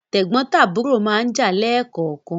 Tẹ̀gbọ́ntàbúrò máa ń jà leè kọ̀ọ̀kan